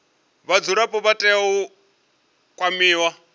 vhadzulapo vha tea u kwamiwa